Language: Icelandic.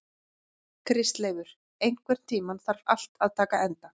Kristleifur, einhvern tímann þarf allt að taka enda.